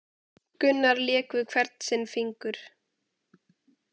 Gunnar lék við hvern sinn fingur